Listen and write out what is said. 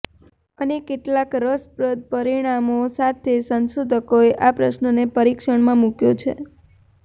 અને કેટલાક રસપ્રદ પરિણામો સાથે સંશોધકોએ આ પ્રશ્નને પરીક્ષણમાં મૂક્યો છે